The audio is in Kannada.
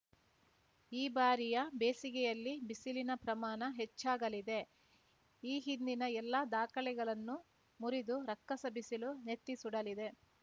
ಈ ಬಾರಿಯ ಬೇಸಿಗೆಯಲ್ಲಿ ಬಿಸಿಲಿನ ಪ್ರಮಾಣ ಹೆಚ್ಚಾಗಲಿದೆ ಈ ಹಿಂದಿನ ಎಲ್ಲ ದಾಖಲೆಗಳನ್ನು ಮುರಿದು ರಕ್ಕಸ ಬಿಸಿಲು ನೆತ್ತಿಸುಡಲಿದೆ